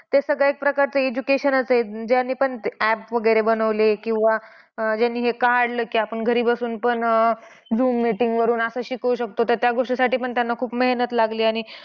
ते सगळं एक प्रकारचं education च आहे. ज्याने पण app वगैरे बनवले किंवा ज्याने हे काढले की आपण घरी बसुन पण अह zoom meeting वरून आपण शिकवू शकतो त्याच्या गोष्टीसाठी पण त्यांना खूप मेहनत लागली. आणि